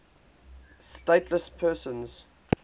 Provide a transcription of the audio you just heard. stateless persons